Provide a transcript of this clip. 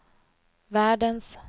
världens